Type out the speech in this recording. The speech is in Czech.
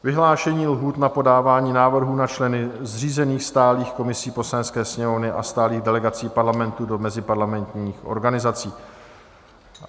Vyhlášení lhůt na podávání návrhů na členy zřízených stálých komisí Poslanecké sněmovny a stálých delegací Parlamentu do meziparlamentních organizací